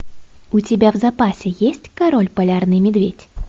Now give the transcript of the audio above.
у тебя в запасе есть король полярный медведь